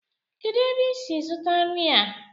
kedu ebe i si zụta nri a?